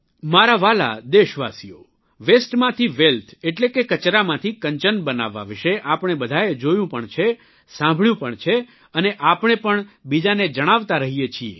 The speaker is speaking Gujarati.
મારા વ્હાલા દેશવાસીઓ વસ્તે માંથી વેલ્થ એટલે કે કચરામાંથી કંચન બનાવવા વિષે આપણે બધાએ જોયું પણ છે સાંભળ્યું પણ છે અને આપણે પણ બીજાને જણાવતા રહીએ છીએ